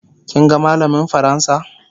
kin ga mallamin fransa?